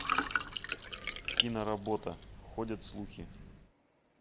киноработа ходят слухи